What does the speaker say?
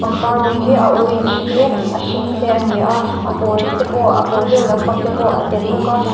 pangpar rawng hi a orange te a hring te ania a pawl te pawh a pawl deuh lam pang te pawh a tel bawk a.